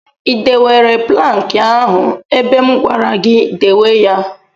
I dewere plankị ahụ ebe m gwara gị dewe ya?